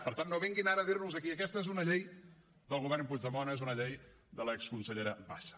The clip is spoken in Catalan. per tant no vinguin ara a dirnos aquí aquesta és una llei del govern puigdemont és una llei de l’exconsellera bassa